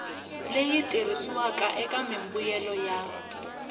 leyi tirhisiwaka eka mimbuyelo ya